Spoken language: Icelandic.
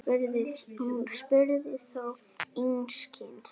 Hún spurði þó einskis.